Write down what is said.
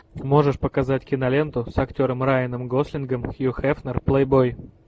можешь показать киноленту с актером райаном гослингом хью хефнер плейбой